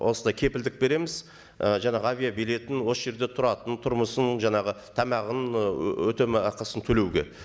осындай кепілдік береміз ы жаңағы авиабилетін осы жерде тұратын тұрмысын жаңағы тамағын ы өтемақысын төлеуге